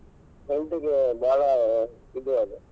health ಗೆ ಬಾಳ ಇದು ಆದೆ.